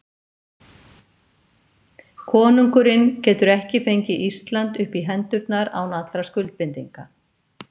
Konungurinn getur ekki fengið Ísland upp í hendurnar án allra skuldbindinga.